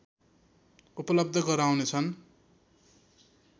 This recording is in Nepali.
उपलब्ध गराउनेछन्